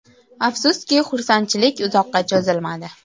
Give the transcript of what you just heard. Afsuski, xursandchilik uzoqqa cho‘zilmadi.